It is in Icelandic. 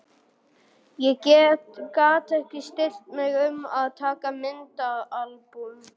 Ég gat ekki stillt mig um að taka myndaalbúm.